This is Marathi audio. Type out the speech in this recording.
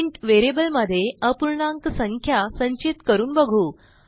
इंट व्हेरिएबलमध्ये अपूर्णाक संख्या संचित करून बघू